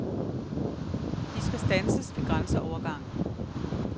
De skal standses ved grænseovergangen.